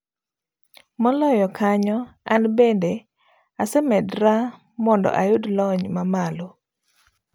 Moloyo kanyo, an bende amedras mondo ayud lony mamalo.